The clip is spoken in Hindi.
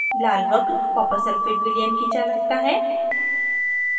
लाल वक्र copper sulphate विलयन की चालकता है